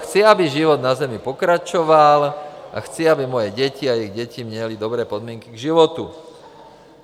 Chci, aby život na Zemi pokračoval, a chci, aby moje děti a jejich děti měly dobré podmínky k životu.